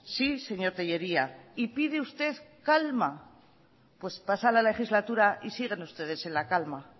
sí señor tellería y pide usted calma pues pasa la legislatura y siguen ustedes en la calma